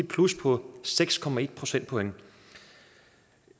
plus på seks procentpoint